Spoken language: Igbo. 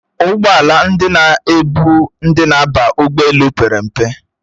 Ụgbọala ndị na-ebu ndi na-aba ụgbọelu pere mpe